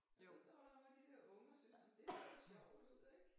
Og så står der nogle af de der unger syntes nåh men det så sjovt ud ik